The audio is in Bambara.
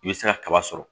I bɛ se ka kaba sɔrɔ